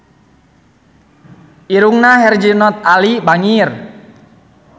Irungna Herjunot Ali bangir